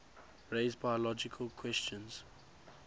raise biological questions